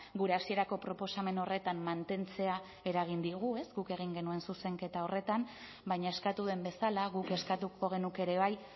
gure hasierako proposamen horretan mantentzea eragin digu guk egin genuen zuzenketa horretan baina eskatu duen bezala guk eskatuko genuke ere bai